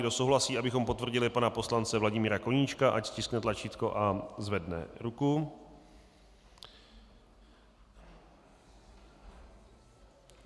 Kdo souhlasí, abychom potvrdili pana poslance Vladimíra Koníčka, ať stiskne tlačítko a zvedne ruku.